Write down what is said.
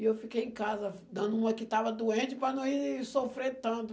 E eu fiquei em casa dando uma que estava doente para não ir sofrer tanto.